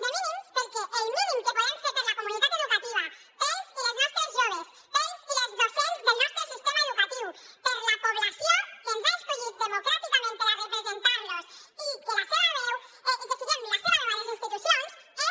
de mínims perquè el mínim que podem fer per la comunitat educativa pels i les nostres joves pels i les docents del nostre sistema educatiu per la població que ens ha escollit democràticament per a representar los i que siguem la seva veu a les institucions és